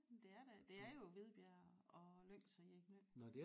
Det er da det er jo Hvidbjerg og Lyngs og Jegindø